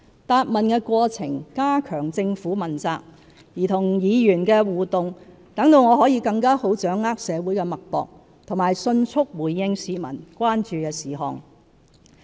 答問的過程加強政府問責，而與議員的互動則讓我更好掌握社會脈搏和迅速回應市民關注的事項。